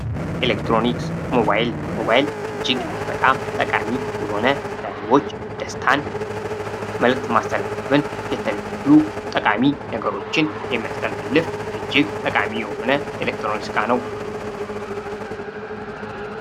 ኤሌክትሮኒክስ ሞባይል እጅግ በጣም ጠቃሚ የሆነ በህዝቦች ደስታን መልዕክት ማስተላለፍን እንዲሁም ጠቃሚ ነገሮችን የሚያስተላልፍ እጅግ ጠቃሚ የሆነ ኤሌክትሮኒክስ ዕቃ ነው።